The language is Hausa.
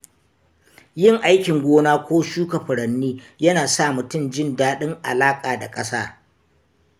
Yin aikin gona ko shuka furanni yana sa mutum jin daɗin alaƙa da ƙasa.